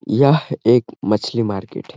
यह एक मछली मार्केट है।